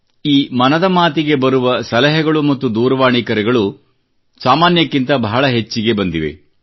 ಈ ಮನದ ಮಾತಿಗೆ ಬರುವ ಸಲಹೆಗಳು ಮತ್ತು ದೂರವಾಣಿ ಕರೆಗಳು ಸಾಮಾನ್ಯಕ್ಕಿಂತ ಬಹಳ ಹೆಚ್ಚಿಗೆ ಬಂದಿವೆ